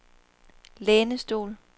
lænestol